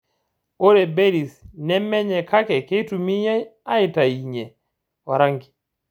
Ore berries nemenyae kake keitumiyai aitainye orangi.